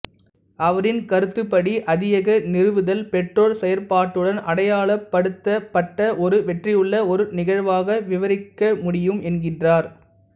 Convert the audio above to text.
அவரின் கருத்துப்படி அதியக நிறுவுதல் பெற்றோர் செயற்பாட்டுடன் அடையாளப்படுத்தப்பட்ட ஒரு வெற்றியுள்ள ஒர் நிகழ்வாக விபரிக்க முடியும் என்கின்றார்